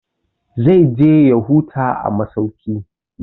Zai je ya huta a masauki.